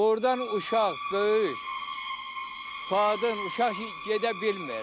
Burdan uşaq, böyük, qadın, uşaq gedə bilmir.